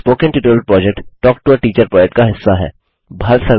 spoken tutorial project talk to a teacher project का हिस्सा है